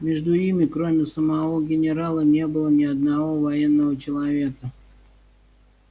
между ими кроме самого генерала не было ни одного военного человека